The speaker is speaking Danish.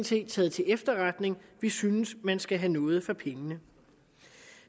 set taget til efterretning vi synes man skal have noget for pengene